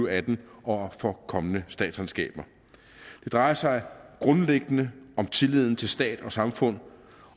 og atten og for kommende statsregnskaber det drejer sig grundlæggende om tilliden til stat og samfund